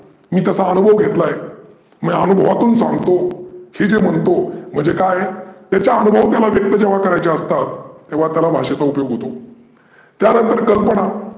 मी तसा अनुभव घेतला आहे. मी अनुभवातुन सांगतो हे जे म्हणतो म्हणजे काय आहे त्याचे अनुभव त्याला व्यक्त जेंव्हा करायचे असतात तेंव्हा त्याला भाषेचा उपयोग होतो. त्यानंतर कल्पना